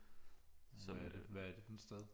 Hvad er det for et sted